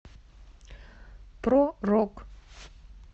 про рок